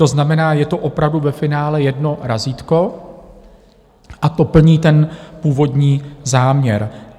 To znamená, je to opravdu ve finále jedno razítko a to plní ten původní záměr.